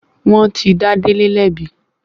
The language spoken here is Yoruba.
Wọ́n ti dá Délé lẹ́bi.